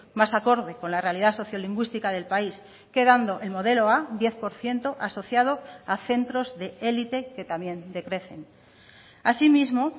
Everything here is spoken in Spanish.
más acorde con la realidad sociolingüística del país quedando el modelo a diez por ciento asociado a centros de élite que también decrecen asimismo